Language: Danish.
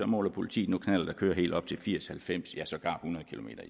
måler politiet nu kører helt op til firs til halvfems ja sågar hundrede kilometer